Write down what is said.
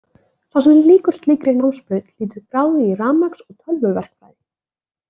Sá sem lýkur slíkri námsbraut hlýtur gráðu í rafmagns- og tölvuverkfræði.